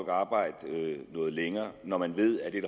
at arbejde noget længere når man ved at det er